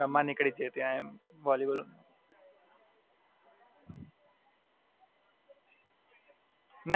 હાં, અમારે ઘરની ત્યાં સામે નિઝામપૂરામાં આગળ એમએસ ગ્રાઉંડ છે ને દોસ્તો હોય ને સાથે મળે તો અમે રમવા નિકડી જઈએ ત્યાં એમ વોલીબોલ.